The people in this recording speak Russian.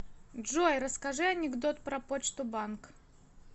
джой расскажи анекдот про почту банк